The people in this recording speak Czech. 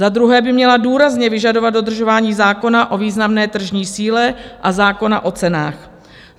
Za druhé by měla důrazně vyžadovat dodržování zákona o významné tržní síle a zákona o cenách.